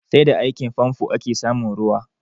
Sai da aikin famfo ake samun ruwa